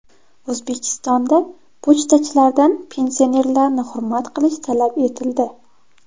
O‘zbekistonda pochtachilardan pensionerlarni hurmat qilish talab etildi.